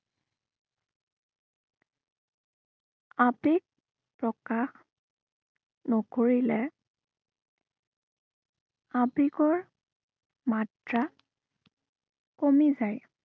আবেগ, প্ৰকাশ নকৰিলে আবোগৰ মাত্ৰা কমি যায়।